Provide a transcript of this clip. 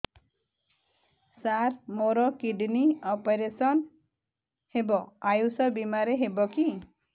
ସାର ମୋର kidney operation Ayush ଆୟୁଷ ବିମାରେ ହେବ କି